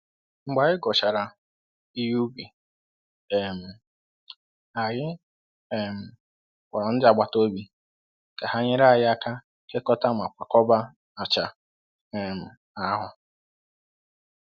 Mgbe anyị ghọchara ihe ubi, um anyị um kpọrọ ndị agbataobi ka ha nyere anyị aka kekọta ma kwakọba acha um ahụ.